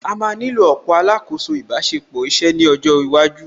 À má nílò ọ̀pọ̀ alákòóso ìbáṣepọ̀ iṣẹ́ ní ọjọ́ iwájú